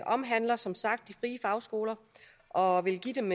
omhandler som sagt de frie fagskoler og vil give dem